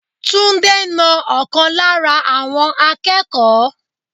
Túndé na ọ̀kan lára àwọn akẹ́kọ̀ọ́.